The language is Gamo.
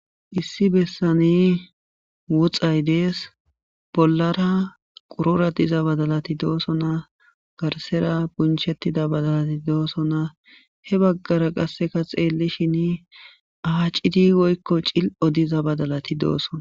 Issi besani woxayi Desi, bollara qorora diza bangati dosona , garsera bunchetida badalati dosona,he bagara qase xeelishn aacidi woyko cili'o badalati dosona.